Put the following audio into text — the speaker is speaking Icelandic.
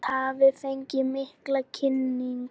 Ísland hafi fengið mikla kynningu